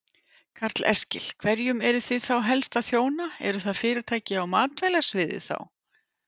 Karl Eskil: Hverjum eruð þið þá helst að þjóna, eru það fyrirtæki á matvælasviði þá?